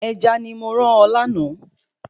Ẹja ni mo rán ọ lánàá